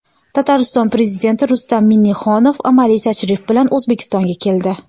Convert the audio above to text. Tatariston Prezidenti Rustam Minnixonov amaliy tashrif bilan O‘zbekistonga keldi.